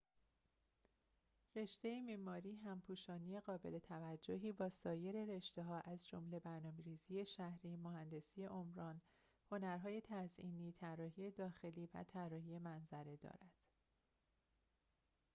رشته معماری همپوشانی قابل‌توجهی با سایر رشته‌ها از جمله برنامه‌ریزی شهری مهندسی عمران هنرهای تزئینی طراحی داخلی و طراحی منظره دارد